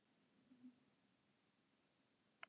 en þetta er endanlega margt og öllu þessu má hætta